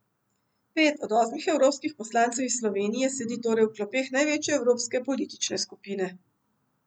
Pet od osmih osmih evropskih poslancev iz Slovenije sedi torej v klopeh največje evropske politične skupine.